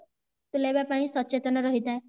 ତୁଲାଇବା ପାଇଁ ସଚେତନ ରହିଥାଏ